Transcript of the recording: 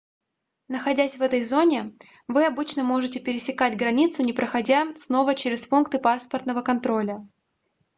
находясь в этой зоне вы обычно можете пересекать границу не проходя снова через пункты паспортного контроля